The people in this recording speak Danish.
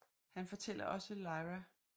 Han fortæller også Lyra at Mrs